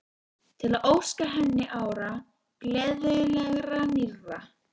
Til að óska henni ára, gleðilegra, nýrra.